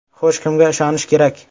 Xo‘sh, kimga ishonish kerak?